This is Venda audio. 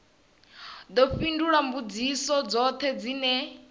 ḓo fhindula mbudziso dzoṱhe dzine